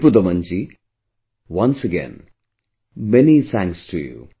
Ripudaman ji, once again, many thanks to you